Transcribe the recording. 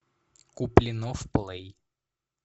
куплинов плей